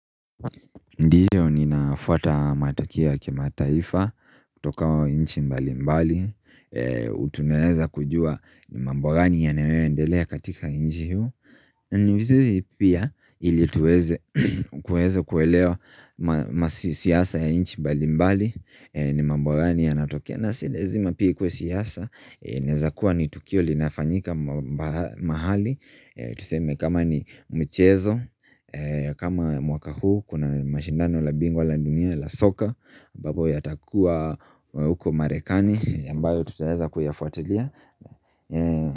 Ndiyo ninafuata matokeo ya kimataifa, toka nchi mbali mbali, tunaeza kujua mambo gani yanayoendelea katika nchi huu. Ni vizuri pia ili tuweze kuelewa siasa ya nchi mbali mbali, ni mambo gani yanatokea na si lazima pia ikue siasa, inaeza kuwa ni tukio linafanyika mahali. Tuseme kama ni mchezo kama mwaka huu Kuna mashindano la bingwa la dunia la soka ambapo yatakuwa huko marekani ambayo tutaweza kuyafuatilia.